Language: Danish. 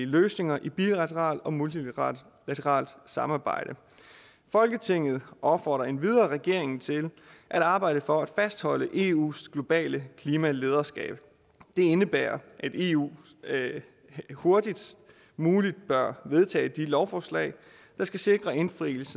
løsninger i bilateralt og multilateralt samarbejde folketinget opfordrer endvidere regeringen til at arbejde for at fastholde eus globale klimalederskab det indebærer at eu hurtigst muligt bør vedtage de lovforslag der skal sikre indfrielse